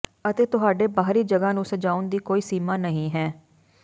ਅਤੇ ਤੁਹਾਡੇ ਬਾਹਰੀ ਜਗ੍ਹਾ ਨੂੰ ਸਜਾਉਣ ਦੀ ਕੋਈ ਸੀਮਾ ਨਹੀਂ ਹੈ